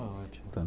Está ótimo. Tá.